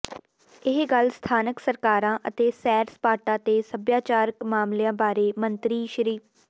ਇਹ ਗੱਲ ਸਥਾਨਕ ਸਰਕਾਰਾਂ ਅਤੇ ਸੈਰ ਸਪਾਟਾ ਤੇ ਸੱਭਿਆਚਾਰਕ ਮਾਮਲਿਆਂ ਬਾਰੇ ਮੰਤਰੀ ਸ